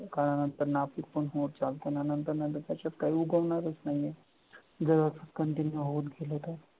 काळानंतर नापिक पण होत चालत ना त्या नंतर नंतर त्याच्यात काय उगवणाऱ नाहीये गवत continew होत गेले तर